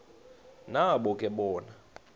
nabo ke bona